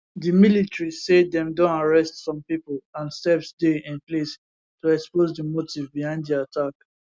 di military say dem don arrest some pipo and steps dey in place to expose di motive behind di attack